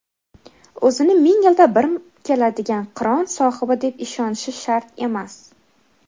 O‘zini ming yilda bir keladigan qiron sohibi deb ishonishi shart emas.